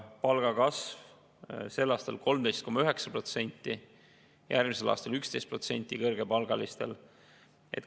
Palgakasv oleks kõrgepalgalistel sel aastal 13,9%, järgmisel aastal 11%.